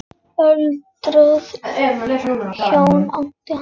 Öldruð hjón áttu hann.